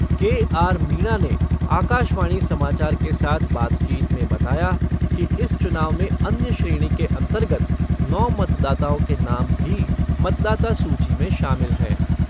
के आर मीणा ने आकाशवाणी समाचार के साथ बातचीत में बताया कि इस चुनाव में अन्य श्रेणी के अंतर्गत नौ मतदाताओं के नाम भी मतदाता सूची में शामिल हैं।